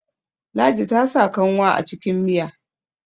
ladi ta sa kanwa a cikin Miya